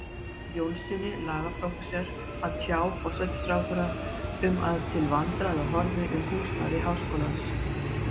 Jónssyni, lagaprófessor, að tjá forsætisráðherra um að til vandræða horfði um húsnæði háskólans.